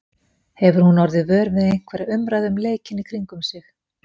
Hefur hún orðið vör við einhverja umræðu um leikinn í kringum sig?